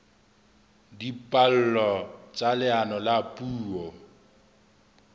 dipallo tsa leano la puo